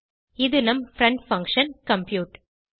இது நம் friend function compute